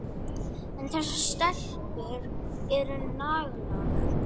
En þessar stelpur eru naglar.